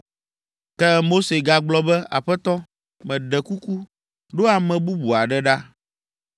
Ke Mose gagblɔ be, “Aƒetɔ, meɖe kuku, ɖo ame bubu aɖe ɖa.”